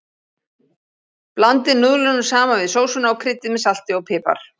Blandið núðlunum saman við sósuna og kryddið með salti og pipar.